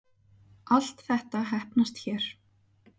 Allt þetta heppnast hér